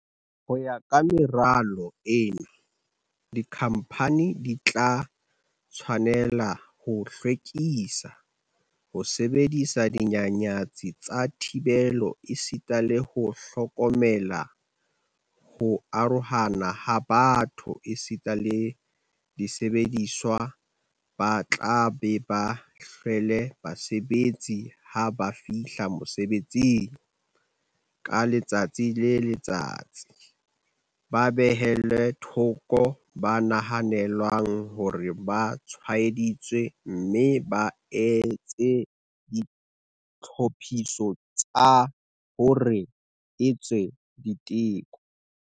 Ho ya ka meralo ena, dikhamphani di tla tshwane-la ho hlwekisa, ho sebedisa dinyanyatsi tsa thibelo esita le ho hlokomela ho arohana ha batho esita le disebediswa, ba tla be ba hlwele basebetsi ha ba fihla mosebetsing ka letsatsi le letsatsi, ba behelle thoko ba nahanelwang hore ba tshwaeditswe mme ba etse ditlhophiso tsa hore ba etswe diteko.